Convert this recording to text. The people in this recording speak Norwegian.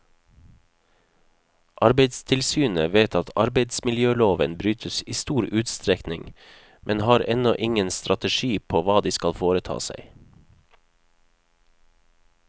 Arbeidstilsynet vet at arbeidsmiljøloven brytes i stor utstrekning, men har ennå ingen strategi på hva de skal foreta seg.